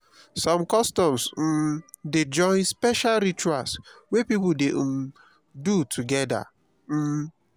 som customs um dey join special rituals wey pipo dey um do togeda. um